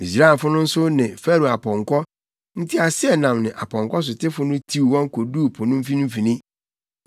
Misraimfo no nso ne Farao apɔnkɔ, nteaseɛnam ne apɔnkɔsotefo no tiw wɔn koduu po no mfimfini.